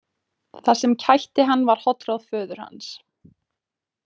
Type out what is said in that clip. Það sem kætti hann var hollráð föður hans.